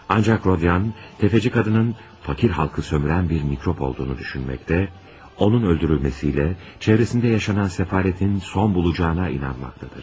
Ancaq Rodion, təfəçi qadının fəqir xalqı sömürən bir mikrob olduğunu düşünməkdə, onun öldürülməsi ilə ətrafında yaşanan səfalətin son bulacağına inanmaqdadır.